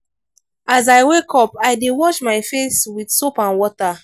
as i wake up i dey wash my face with soap and water.